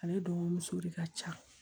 Ale dɔgɔmuso de ka ca